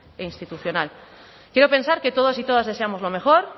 e institucional quiero pensar que todos y todas deseamos lo mejor